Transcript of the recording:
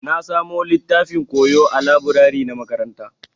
Na samu littafin koyo ã laburare na makaranta.